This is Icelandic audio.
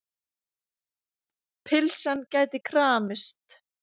Pylsan gæti kramist.